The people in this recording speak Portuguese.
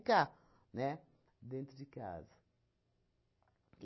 né? Dentro de casa.